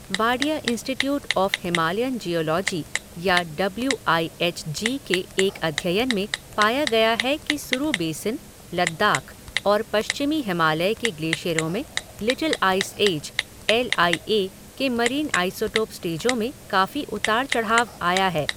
Wadia institute of Himalayan geology या W I H G के एक अध्ययन में पाया गया है कि सुरु बेसिन, लद्दाख और पश्चिमी हिमालय के ग्लेशियरों में little ice age, L I A के मरीन आइसोटोप स्टेजों में काफी उतार चढ़ाव आया है।